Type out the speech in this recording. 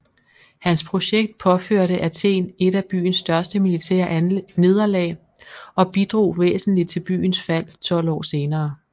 Hans projekt påførte Athen et af byens største militære nederlag og bidrog væsentligt til byens fald 12 år senere